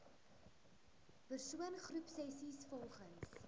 persoon groepsessies volgens